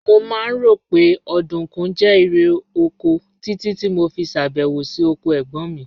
Mo máa ń rò pé ọ̀dùnkún jẹ́ irè oko títí tí mo fi ṣèbẹ̀wò sí oko ẹ̀gbọ́n mi